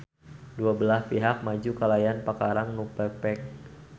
Dua belah pihak maju kalayan pakarang nu pepek.